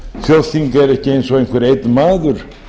þjóðþing eru ekki eins og einhver einn maður